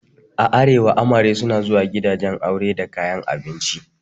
A arewa amare suna zuwa gidan aure a kayan abinci.